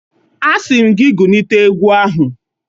Asi m gị gulịte egwu ahụ